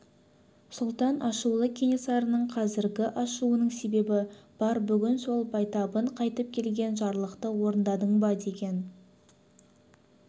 сұлтан ашулы кенесарының қазіргі ашуының себебі бар бүгін сол байтабын қайтып келген жарлықты орындадың ба деген